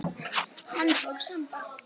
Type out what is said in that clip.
Handbók Samba.